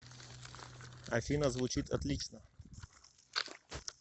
афина звучит отлично